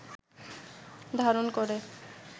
ধারণ করে